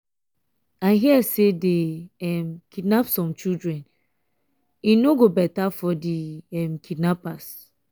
i hear say dey um kidnap some children. e no go um better for the um kidnappers.